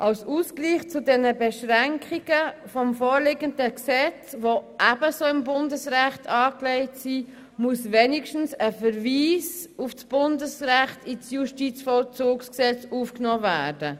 Als Ausgleich zu den Beschränkungen des vorliegenden Gesetzes, die ebenso im Bundesrecht angelegt sind, muss zumindest ein Verweis auf das Bundesrecht ins Justizvollzugsgesetz aufgenommen werden.